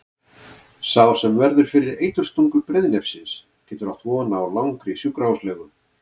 Sá sem verður fyrir eiturstungu breiðnefsins getur átt von á langri sjúkrahúslegu.